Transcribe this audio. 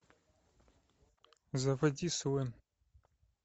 заводи свен